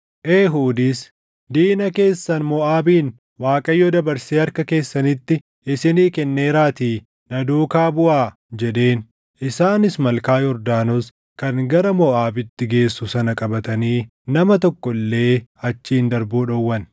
Eehuudis, “Diina keessan Moʼaabin Waaqayyo dabarsee harka keessanitti isinii kenneeraatii na duukaa buʼaa!” jedheen. Isaanis malkaa Yordaanos kan gara Moʼaabitti geessu sana qabatanii nama tokko illee achiin darbuu dhowwan.